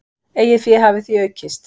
Eigið fé hafi því aukist.